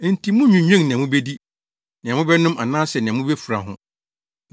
Enti munnnwinnwen nea mubedi, nea mobɛnom anaasɛ nea mubefura ho.